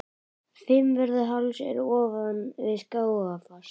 Fimmvörðuháls er ofan við Skógafoss.